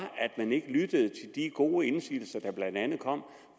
at man ikke lyttede til de gode indsigelser der blandt andet kom